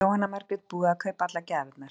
Jóhanna Margrét: Búið að kaupa allar gjafirnar?